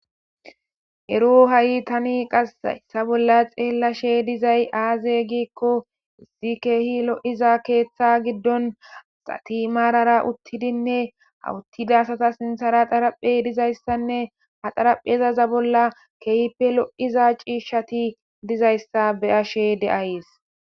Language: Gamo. ero ha7i tani qasayssa bolla xeellashe dizay aaze giikko izi keehi lo7iza keeththa giddon asati maarara uttidinne hawuttida asata sinthara xaraphey dizayssanne ha xaraphezaza bolla keehippe lo7iza ciishshati dizayssa be ashe de7ayees